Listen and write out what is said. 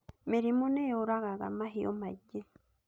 Mĩrimũ nĩ yũragaga mahiũ maingĩ